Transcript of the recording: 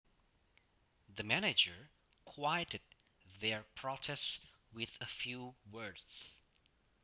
The manager quieted their protest with a few words